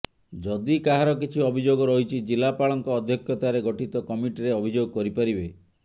ଯଦି କାହାର କିଛି ଅଭିଯୋଗ ରହିଛି ଜିଲାପାଳଙ୍କ ଅଧ୍ୟକ୍ଷତାରେ ଗଠିତ କମିଟିରେ ଅଭିଯୋଗ କରିପାରିବେ